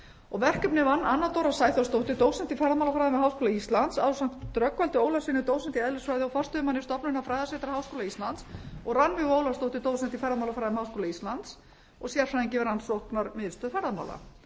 og verkefnið vann anna dóra sæþórsdóttir dósent í ferðamálafræðum við háskóla íslands ásamt rögnvaldi ólafssyni dósent í eðlisfræði og forstöðumanni stofnunar fræðasetra háskóla íslands og rannveigu ólafsdóttur dósent í ferðamálafræðum háskóla íslands og sérfræðingi við rannsóknamiðstöð ferðamála